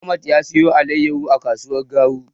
Ahmad ya siyo alaiyahu a kasuwar Garu.